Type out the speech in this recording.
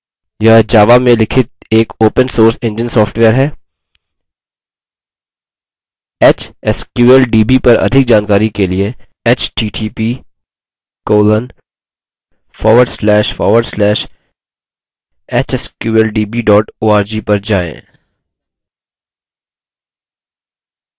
यह java में लिखित एक open source engine सॉफ्टवेयर है hsqldb पर अधिक जानकारी के लिए इस पर जाएँ